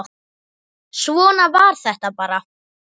Svona var þetta bara.